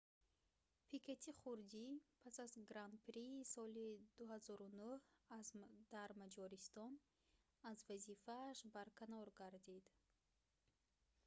пикети хурдӣ пас аз гран-прии соли 2009 дар маҷористон аз вазифааш барканор гардид